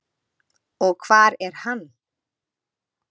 Og hvar er hann?